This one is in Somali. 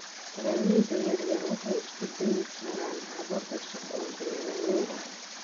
Beeralayda yaryar waxay isku dayi karaan habab cusub oo beeralay ah.